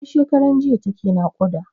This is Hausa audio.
Tun shekaran jiya take naƙuda.